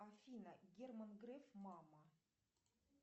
афина герман греф мама